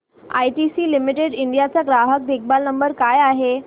ITC limited India चा ग्राहक देखभाल नंबर काय आहे